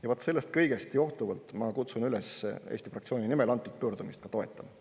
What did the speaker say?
Ja vaat sellest kõigest johtuvalt ma kutsun üles Eesti 200 fraktsiooni nimel antud pöördumist toetama.